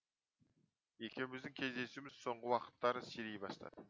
екеуміздің кездесуіміз соңғы уақыттары сирей бастады